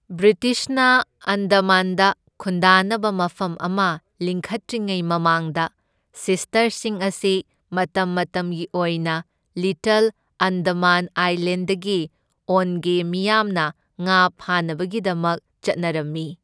ꯕ꯭ꯔꯤꯇꯤꯁꯅ ꯑꯟꯗꯃꯥꯟꯗ ꯈꯨꯟꯗꯥꯅꯕ ꯃꯐꯝ ꯑꯃ ꯂꯤꯡꯈꯠꯇ꯭ꯔꯤꯉꯩ ꯃꯃꯥꯡꯗ ꯁꯤꯁꯇꯔꯁꯤꯡ ꯑꯁꯤ ꯃꯇꯝ ꯃꯇꯝꯒꯤ ꯑꯣꯏꯅ ꯂꯤꯇꯜ ꯑꯟꯗꯃꯥꯟ ꯑꯥꯏꯂꯦꯟꯗꯒꯤ ꯑꯣꯟꯒꯦ ꯃꯤꯌꯥꯝꯅ ꯉꯥ ꯐꯥꯅꯕꯒꯤꯗꯃꯛ ꯆꯠꯅꯔꯝꯏ꯫